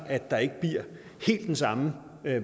at der ikke bliver helt den samme